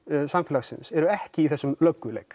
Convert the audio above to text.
samfélagins eru ekki í þessum